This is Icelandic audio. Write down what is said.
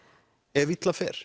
ef illa fer